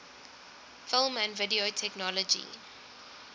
film and video technology